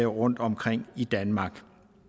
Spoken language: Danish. rundtomkring i danmark